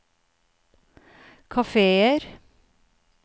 kafeer